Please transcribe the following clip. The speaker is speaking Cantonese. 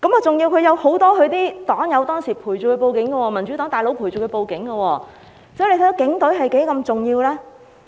再者，很多他的黨友當時陪伴他去報案，民主黨的"大佬"也陪伴他，看看警隊是多麼重要？